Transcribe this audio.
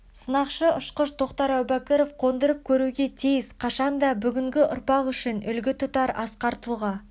сынақшы-ұшқыш тоқтар әубәкіров қондырып көруге тиіс қашанда бүгінгі ұрпақ үшін үлгі тұтар асқар тұлға